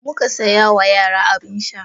Muka saya wa yara abin sha.